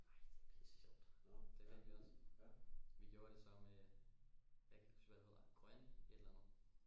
Ej det er pisse sjovt det vandt vi også vi gjorde det så med jeg kan ikke huske hvad det hedder grøn et eller andet